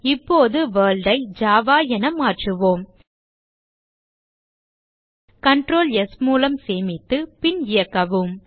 இப்போது World ஐ Java என மாற்றுவோம் Ctrl ஸ் மூலம் சேமித்து பின் இயக்கவும்